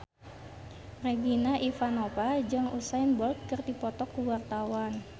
Regina Ivanova jeung Usain Bolt keur dipoto ku wartawan